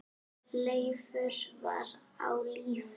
Leifur var á lífi.